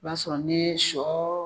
I b'a sɔrɔ n'i ye shɔ